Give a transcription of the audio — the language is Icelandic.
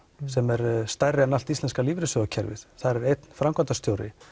sem er stærri en allt íslenska lífeyrissjóðakerfið þar er einn framkvæmdarstjóri